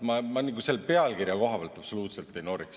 Ma selle pealkirja koha pealt siinkohal absoluutselt ei noriks.